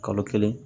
Kalo kelen